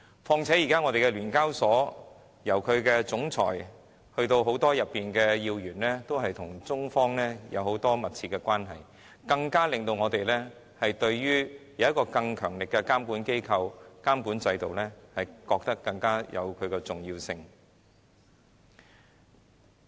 況且，現時聯交所的總裁及很多要員都與中方有密切關係，這令我們認為設有一個更強力的監管機構和監管制度更顯重要。